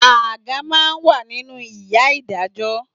Àga máa ń wà nínú ìyá Ìdájọ́